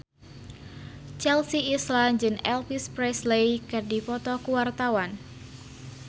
Chelsea Islan jeung Elvis Presley keur dipoto ku wartawan